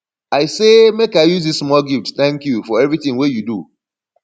i say make i use dis small gift tank you for evertin wey you do